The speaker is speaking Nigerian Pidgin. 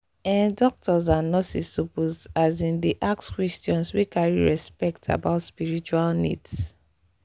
ehh doctors and nurses suppose asin dey ask questions wey carry respect about spiritual needs.